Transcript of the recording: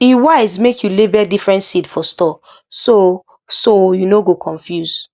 e wise make you label different seed for store so so you no go confuse